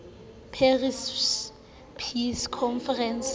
paris peace conference